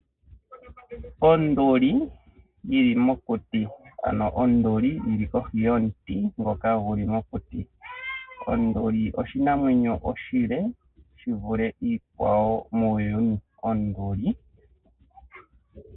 Onduli oyili mokuti ano onduli yili kohi yomuti ngoka guli mokuti. Onduli oyo oshinamwenyo oshile shivule iinamwenyo ayihe muuyuni.